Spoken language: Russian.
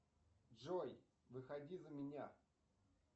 джой выходи за меня